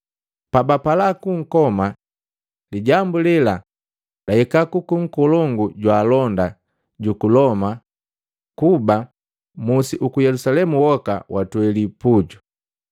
Pabapala kunkoma, lijambu lela lahika kwaka nkolongu wa jwaalonda juku Loma kuba musi uku Yelusalemu woka watweli puju.